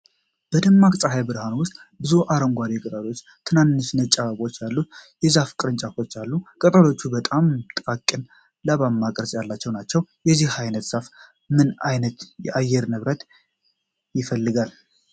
በደማቅ ፀሐይ ብርሃን ውስጥ፣ ብዙ አረንጓዴ ቅጠሎችና ትናንሽ ነጭ አበባዎች ያሉት የዛፍ ቅርንጫፎች አሉ። ቅጠሎቹ በጣም ጥቃቅንና ላባማ ቅርጽ ያላቸው ናቸው። የዚህ ዓይነቱ ዛፍ ምን ዓይነት የአየር ንብረት ይፈልጋል?